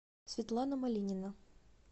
светлана малинина